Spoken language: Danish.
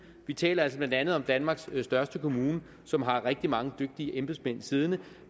vi taler altså blandt andet om danmarks største kommune som har rigtig mange dygtige embedsmænd siddende